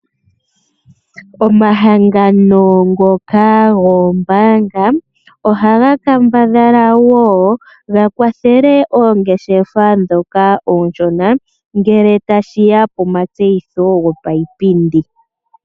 Omahangano ngoka goombanga ohaga kambadhala wo ga kwathele oongeshefa dhoka ooshona ngele tashi ya pomatseyitho gopa yipindi.